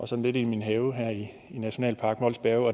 sådan lidt i min have i nationalpark mols bjerge